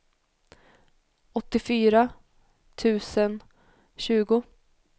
åttiofyra tusen tjugo